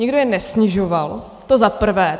Nikdo je nesnižoval, to za prvé.